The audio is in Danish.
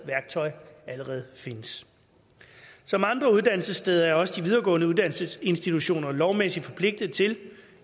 værktøj allerede findes som andre uddannelsessteder er også de videregående uddannelsesinstitutioner lovmæssigt forpligtet til